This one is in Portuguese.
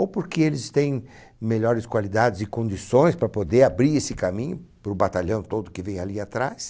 Ou porque eles têm melhores qualidades e condições para poder abrir esse caminho para o batalhão todo que vem ali atrás.